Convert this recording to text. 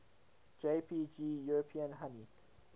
jpg european honey